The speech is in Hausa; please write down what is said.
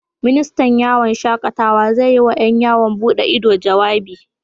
Ministan yawon shakatawa zai yi wa ƴan yawon bude ido, jawabi